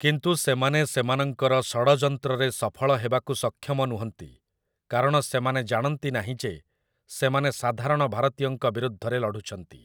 କିନ୍ତୁ ସେମାନେ ସେମାନଙ୍କର ଷଡ଼ଯନ୍ତ୍ରରେ ସଫଳ ହେବାକୁ ସକ୍ଷମ ନୁହଁନ୍ତି, କାରଣ ସେମାନେ ଜାଣନ୍ତି ନାହିଁ ଯେ ସେମାନେ ସାଧାରଣ ଭାରତୀୟଙ୍କ ବିରୁଦ୍ଧରେ ଲଢ଼ୁଛନ୍ତି ।